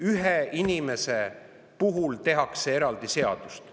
Ühe inimese tehakse eraldi seadust.